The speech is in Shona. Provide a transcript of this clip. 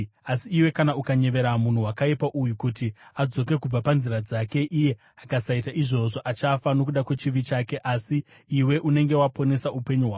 Asi iwe kana ukanyevera munhu wakaipa uyu kuti adzoke kubva panzira dzake, iye akasaita izvozvo, achafa nokuda kwechivi chake, asi iwe unenge waponesa upenyu hwako.